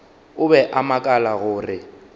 o be a makala gore